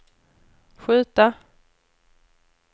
skjuta